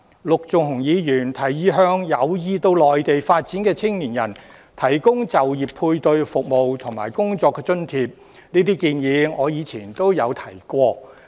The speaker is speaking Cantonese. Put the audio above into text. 陸頌雄議員提議向有意到內地發展的青年人提供就業配對服務和工作津貼，這建議我以前也提過。